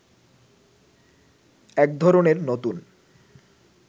এক ধরনের নতুন